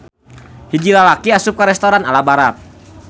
Hiji lalaki asup ka restoran ala Barat.